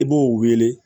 I b'o wele